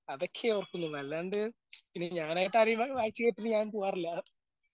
അതൊക്കെ ഓർക്കുന്നു. അല്ലാണ്ട് പിന്നെ ഞാനായിട്ട് വായിച്ച് കേൾപ്പിക്കാൻ പോകാറില്ല.